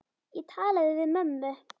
Ég talaði við mömmu.